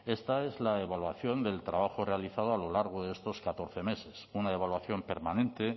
esta es la evaluación del trabajo realizado a lo largo de estos catorce meses una evaluación permanente